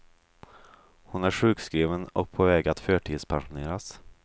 Hon är sjukskriven och på väg att förtidspensioneras.